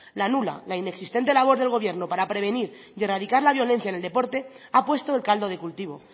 la nula la inexistente labor del gobierno para prevenir y erradicar la violencia en el deporte ha puesto el caldo de cultivo